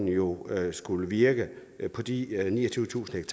jo har skullet virke på de niogtyvetusind